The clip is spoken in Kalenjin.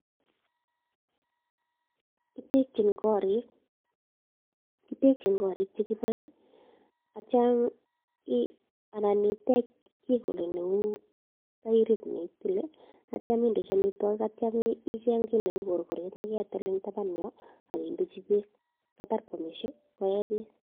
Ketekchin korik che kiboen ak kityo, anan itech kit neo neu tairit kole ak kitya indechi amitwogik. Ak kitya icheng kiy neu neketil en taban yon indechi beek. Yetar koamishe koe beek.